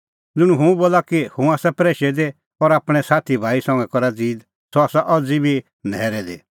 ज़ुंण इहअ बोला कि हुंह आसा प्रैशै दी और आपणैं साथी भाई संघै करा ज़ीद सह आसा अज़ी बी न्हैरै दी